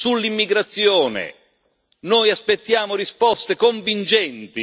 Sull'immigrazione noi aspettiamo risposte convincenti.